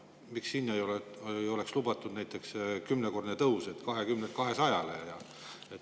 Miks seal ei võiks lubatud olla näiteks kümnekordne tõus 20 eurolt 200-le?